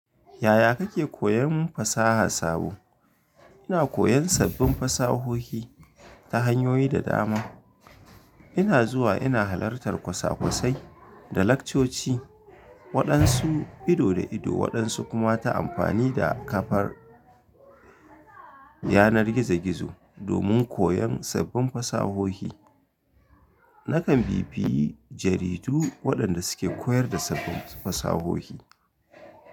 Yaya kake koyan fasaha sabo? Ina koyan sabbin fasahohi ta hanyoyi da dama. Ina zuwa ina halartar kwasa-kwasai da laccoci, waɗansu ido da ido waɗansu kuma ta amfani da kafar yanar gizo-gizo. Domin koyan sabbin fasahohi, nakan bi biyi jaridu waɗanda suke koyar da sabbin fasahohi.